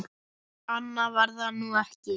Annað var það nú ekki.